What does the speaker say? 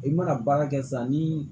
I mana baara kɛ sisan ni